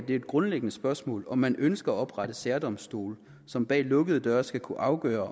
det grundlæggende spørgsmål om man ønsker at oprette særdomstole som bag lukkede døre skal kunne afgøre